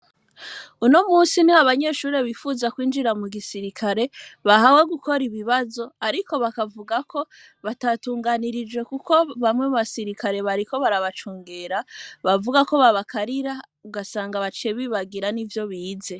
Uno musi ni ho banyeshurri bifuza kwinjira mu gisirikare bahawe gukora ibibazo, ariko bakavuga ko batatunganirije, kuko bamwe mu basirikare bariko barabacungera bavuga ko babakarira ugasanga bacebi bagira n'i vyo bize.